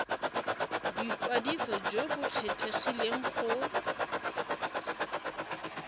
boikwadiso jo bo kgethegileng go